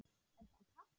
Er það Katla?